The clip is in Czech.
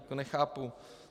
To nechápu.